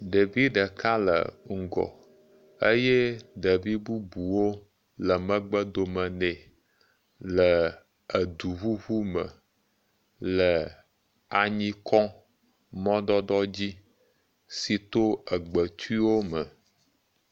Ɖevi ɖeka le ŋgɔ eye ɖevi bubuwo le megbe dome nɛ le eduƒuƒu me, le anyi kɔm, mɔdodoɔ dzi si do egbetiwo me